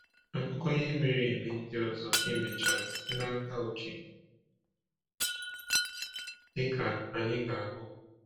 Akụkọ ihe mere eme ndị ọzọ e mechara site n’aka Uche, dịka anyị ga-ahụ.